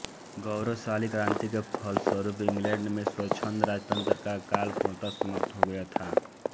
गौरवशाली क्रांति के फलस्वरूप इंग्लैंड में स्वछंद राजतंत्र का काल पूर्णतः समाप्त हो गया था